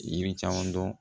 Yiri caman dɔn